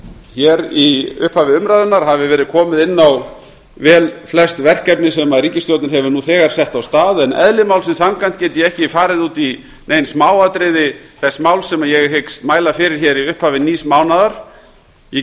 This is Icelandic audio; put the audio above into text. hér í upphafi umræðunnar hafi verið komið inn á velflest verkefni sem ríkisstjórnin hefur nú þegar sett af stað en eðli málsins samkvæmt get ég ekki farið út í nein smáatriði þess máls sem ég hyggst mæla fyrir hér í upphafi nýs mánaðar ég